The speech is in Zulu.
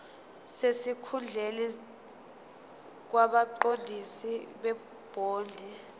sesikhundleni kwabaqondisi bebhodi